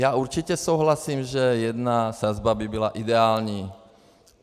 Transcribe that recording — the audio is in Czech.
Já určitě souhlasím, že jedna sazba by byla ideální.